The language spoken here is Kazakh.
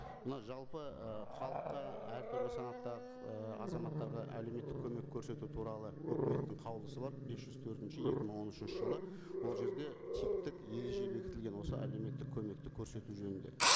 мына жалпы ы халыққа әртүрлі санатта ы азаматтарға әлеуметтік көмек көрсету туралы өкіметтің қаулысы бар бес жүз төртінші екі мың он үшінші жылы ол жерде типтік ереже бекітілген осы әлеуметтік көмекті көрсету жөнінде